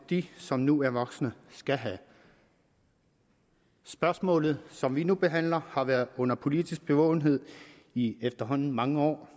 de som nu er voksne skal have spørgsmålet som vi nu behandler har været under politisk bevågenhed i efterhånden mange år